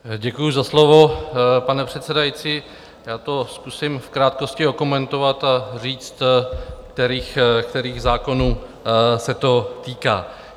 Děkuji za slovo, pane předsedající, já to zkusím v krátkosti okomentovat a říct, kterých zákonů se to týká.